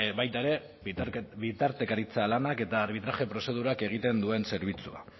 baita ere bitartekaritza lanak eta arbitraje prozedurak egiten duen zerbitzua